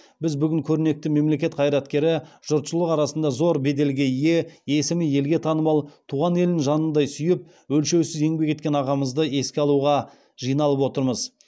біз бүгін көрнекті мемлекет қайраткері жұртшылық арасында зор беделге ие есімі елге танымал туған елін жанындай сүйіп өлшеусіз еңбек еткен ағамызды еске алуға жиналып отырмыз